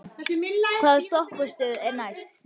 Obba, hvaða stoppistöð er næst mér?